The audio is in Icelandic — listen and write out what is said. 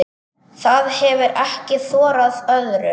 Það hefir ekki þorað öðru.